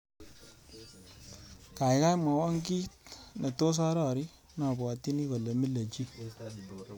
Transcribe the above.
Gaigai mwawon kiiy netos arori nabwatchini kole mile chii